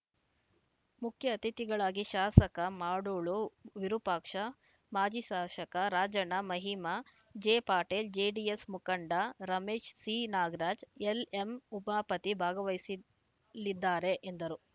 ಮುಖ್ಯ ಅತಿಥಿಗಳಾಗಿ ಶಾಸಕ ಮಾಡಾಳು ವಿರೂಪಾಕ್ಷಪ್ಪ ಮಾಜಿ ಶಾಸಕ ರಾಜಣ್ಣ ಮಹಿಮಾ ಜೆಪಟೇಲ್‌ ಜೆಡಿಎಸ್‌ ಮುಖಂಡ ರಮೇಶ್‌ ಸಿನಾಗರಾಜ್‌ ಎಲ್‌ಎಂಉಬಾಪತಿ ಭಾಗವಹಿಸಲಿದ್ದಾರೆ ಎಂದರು